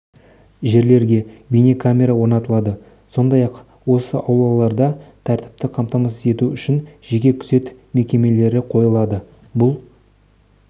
жерлерге бейнекамера орнатылады сондай-ақ осы аулаларда тәртіпті қамтамасыз ету үшін жеке күзет мекемелері қойылады бұл